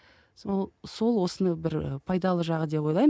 сол сол осыны бір пайдалы жағы деп ойлаймын